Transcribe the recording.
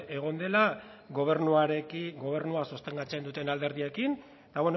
egon dela gobernua sostengatzen duten alderdiekin eta